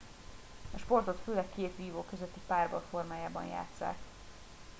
a sportot főleg két vívó közötti párbaj formájában játsszák